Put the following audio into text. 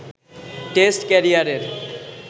test ক্যারিয়ারের